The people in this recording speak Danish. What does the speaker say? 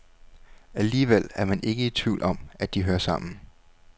Alligevel er man ikke i tvivl om, at de hører sammen.